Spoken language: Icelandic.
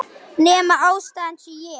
Nema ástæðan sé ég.